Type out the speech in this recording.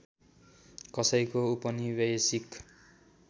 कसैको उपनिवेशिक